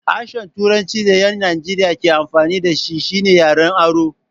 Harshen turancin da ƴan Najeriya ke amfani da shi shine yaren aro.